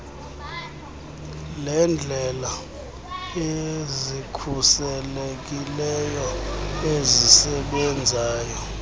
leendlela ezikhuselekileyo ezisebenzayo